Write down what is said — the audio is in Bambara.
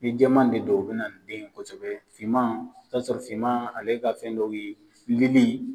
Ni jɛman de don o bina den kosɛbɛ fiman, i bi taa sɔrɔ fiman ale ka fɛn dɔw ye lili